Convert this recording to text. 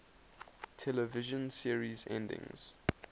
television series endings